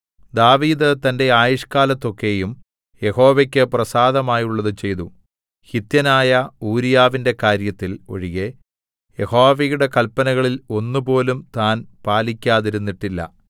ദാവീദ് തന്റെ ആയുഷ്ക്കാലത്തൊക്കെയും യഹോവയ്ക്ക് പ്രസാദമായുള്ളത് ചെയ്തു ഹിത്യനായ ഊരീയാവിന്റെ കാര്യത്തിൽ ഒഴികെ യഹോവയുടെ കല്പനകളിൽ ഒന്നുപോലും താൻ പാലിക്കാതിരുന്നിട്ടില്ല